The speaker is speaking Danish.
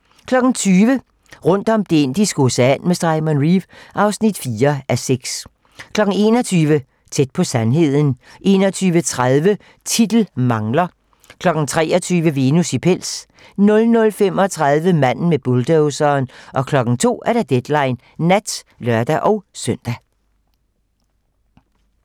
20:00: Rundt om Det Indiske Ocean med Simon Reeve (4:6) 21:00: Tæt på sandheden 21:30: Titel mangler 23:00: Venus i pels 00:35: Manden med bulldozeren 02:00: Deadline nat (lør-søn)